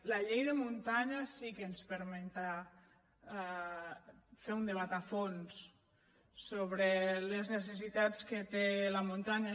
la llei de muntanya sí que ens permetrà fer un debat a fons sobre les necessitats que té la muntanya